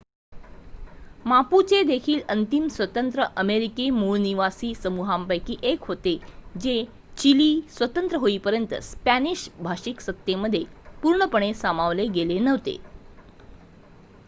Mapuche देखील अंतिम स्वतंत्र अमेरिकी मूळनिवासी समूहांपैकी एक होते जे चिली स्वतंत्र होईपर्यंत स्पॅनिश-भाषिक सत्तेमध्ये पूर्णपणे सामावले गेले नव्हते